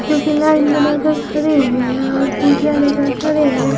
क्योंकि लाइन बनाकर खड़े हैं और पूजा लेकर खड़े हैं।